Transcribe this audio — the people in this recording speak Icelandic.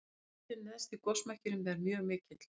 hitinn neðst í gosmekkinum er mjög mikill